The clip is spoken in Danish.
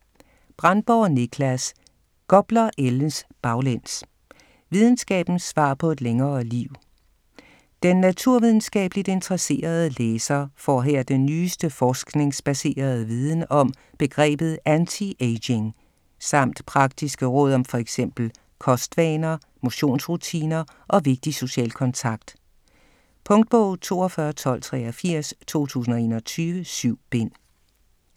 Brendborg, Nicklas: Gopler ældes baglæns: videnskabens svar på et længere liv Den naturvidenskabeligt interesserede læser får her den nyeste forskningsbaserede viden om begrebet "antiaging" samt praktiske råd om fx kostvaner, motionsrutiner og vigtig social kontakt. Punktbog 421283 2021. 7 bind.